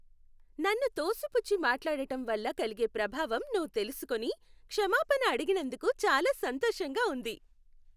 నన్ను తోసిపుచ్చి మాట్లాడటం వల్ల కలిగే ప్రభావం నువ్వు తెలుసుకొని, క్షమాపణ అడిగినందుకు చాలా సంతోషంగా ఉంది.